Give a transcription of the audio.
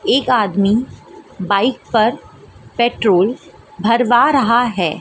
एक आदमी बाइक पर पेट्रोल भरवा रहा है।